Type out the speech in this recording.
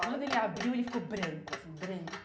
Quando ele abriu, ele ficou branco, assim, branco.